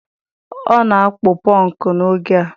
Ọ na-akpụ pọnkụ n' oge a.